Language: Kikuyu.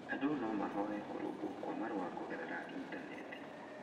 Andũ no mahoe kũrũngwo kwa marũa kũgerera initaneti.